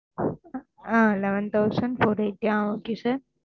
ah eleven thousand four eighty ah okay sir